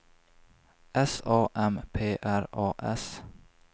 S A M P R A S